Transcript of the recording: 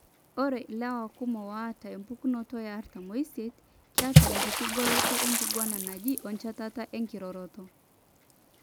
Ore ilewa kumok oata empukunoto eartam oisiet, XXYY keeta enkiti goloto enkiguana naje oenchetata enkiroroto.